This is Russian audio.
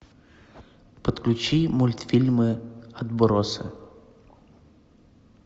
подключи мультфильмы отбросы